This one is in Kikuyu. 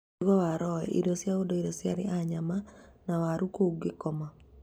Mũtugo wa Rowe: Irio cia ũndũire cia arĩi a nyama na Waha kũu Kigoma